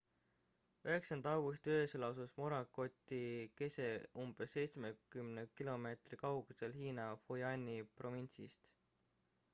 9 augusti öösel asus morakoti kese umbes seitsmekümne kilomeetri kaugusel hiina fujiani provintsist